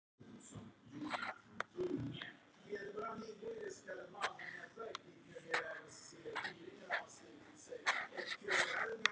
Þórhallur: Er þetta framtíðarmarkaður fyrir þig?